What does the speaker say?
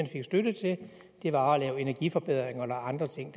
givet støtte til var at lave energiforbedringer eller andre ting